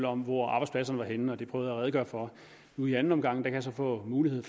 om hvor arbejdspladserne var henne det prøvede jeg at redegøre for nu i anden omgang kan jeg så få mulighed